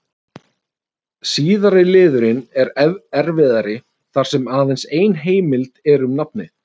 Síðari liðurinn er erfiðari þar sem aðeins ein heimild er um nafnið.